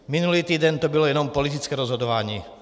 Minulý týden to bylo jenom politické rozhodování.